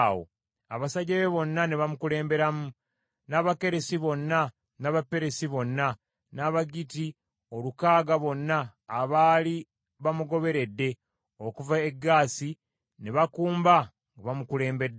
Abasajja be bonna ne bamukulemberamu, n’Abakeresi bonna n’Abaperesi bonna, n’Abagitti olukaaga bonna abaali bamugoberedde okuva e Gaasi ne bakumba nga bamukulembeddemu.